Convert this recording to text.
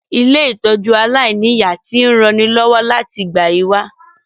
Ilé-ìtójú aláìniya ti n ranilọ́wọ́ láti ìgbà yi wa